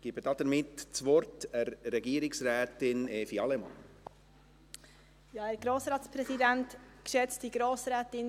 Ich gebe damit Regierungsrätin Evi Allemann das Wort.